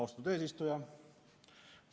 Austatud eesistuja!